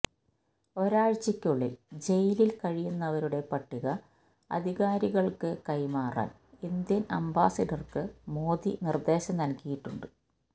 ഒരാഴ്ചക്കുള്ളില് ജയിലില് കഴിയുന്നവരുടെ പട്ടിക അധികാരികള്ക്ക് കൈമാറാന് ഇന്ത്യന് അംബാസിഡര്ക്ക് മോദി നിര്ദ്ദേശം നല്കിയിട്ടുണ്ട്